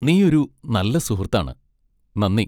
നീ ഒരു നല്ല സുഹൃത്താണ്! നന്ദി!